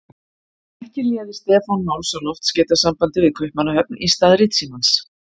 Ekki léði Stefán máls á loftskeytasambandi við Kaupmannahöfn í stað ritsímans.